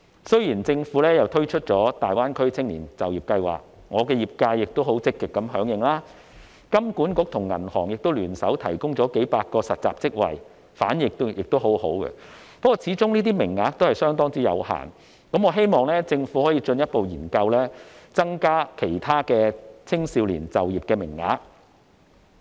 雖然政府已推出大灣區青年就業計劃，我的業界亦很積極響應，香港金融管理局和銀行亦聯手提供了數百個實習職位，反應亦很好，但這些名額始終相當有限，我希望政府可以進一步研究增加其他青少年的就業名額。